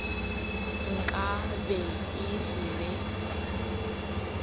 nka be e se be